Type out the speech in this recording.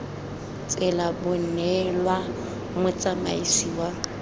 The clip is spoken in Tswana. tsela bo neelwa motsamaisi wa